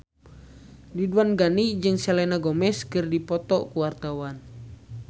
Ridwan Ghani jeung Selena Gomez keur dipoto ku wartawan